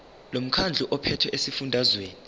lomkhandlu ophethe esifundazweni